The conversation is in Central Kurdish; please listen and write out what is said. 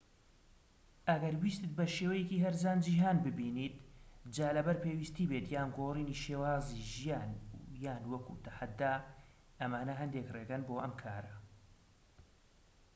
ئەگەر ویستت بە شێوەیەکی هەرزان جیهان ببینیت جا لەبەر پێویستی بێت یان گۆڕینی شێوازی ژیان یان وەکو تەحەدا ئەمانە هەندێك ڕێگەن بۆ ئەم کارە